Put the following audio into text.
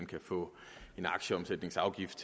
kan få en aktieomsætningsafgift